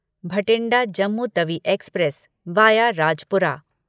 Bathinda Jammu Tawi express via Rajpura